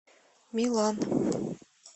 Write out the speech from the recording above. милан